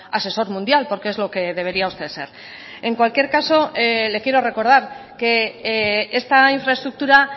asesor mundial porque es lo que debería usted ser en cualquier caso le quiero recordar que esta infraestructura